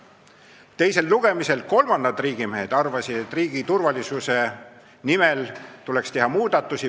Teisel lugemisel kolmandad riigimehed arvasid, et riigi turvalisuse nimel tuleks teha muudatusi.